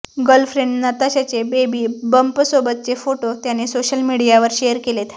girlfriend नताशाचे baby बंपसोबतचे photo त्याने सोशल मीडियावर शेअर केलेत